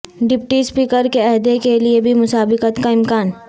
deputy speaker کے عہدے کیلئے بھی مسابقت کا امکان